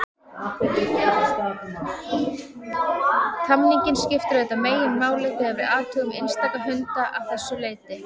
Tamningin skiptir auðvitað meginmáli þegar við athugum einstaka hunda að þessu leyti.